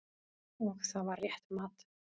Og það var rétt mat.